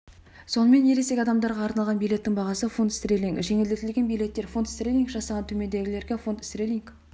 сонымен ересек адамдарға арналаған билеттің бағасы фунт стерлинг жеңілдетілген билеттер фунт стерлинг жастан төмендегілерге фунт стерлинг